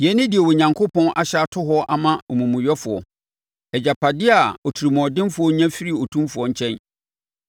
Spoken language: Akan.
“Yei ne deɛ Onyankopɔn ahyɛ ato hɔ ama omumuyɛfoɔ, agyapadeɛ a otirimuɔdenfoɔ nya firi Otumfoɔ nkyɛn: